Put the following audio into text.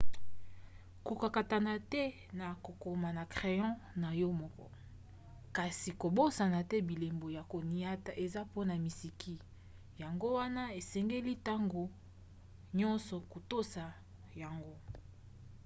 kokakatana te na kokoma na crayon na yo moko kasi kobosana te bilembo ya koniata eza mpona miziki yango wana esengeli ntango nyonso kotosa yango